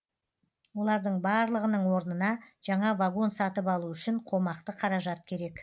олардың барлығының орнына жаңа вагон сатып алу үшін қомақты қаражат керек